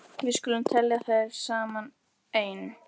Við skulum telja þær saman: Ein.